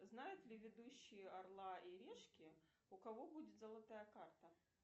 знают ли ведущие орла и решки у кого будет золотая карта